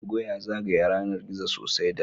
Tugo ya zagaya yanar gizo sosai da